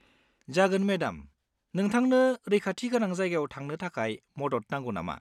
जागोन, मेडाम, नोंथांनो रैखाथि गोनां जायगायाव थांनो थाखाय मदद नांगौ नामा?